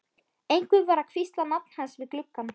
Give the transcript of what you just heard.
Einhver var að hvísla nafn hans við gluggann.